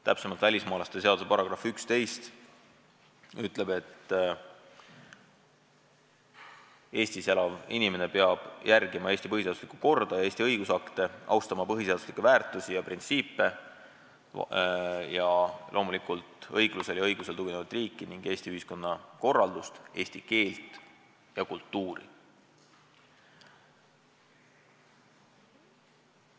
Täpsemalt, välismaalaste seaduse § 11 ütleb, et Eestis elav inimene peab järgima Eesti põhiseaduslikku korda ja Eesti õigusakte, austama põhiseaduslikke väärtusi ja printsiipe, õiglusel ja õigusel tuginevat riiki ning Eesti ühiskonna korraldust, eesti keelt ja kultuuri.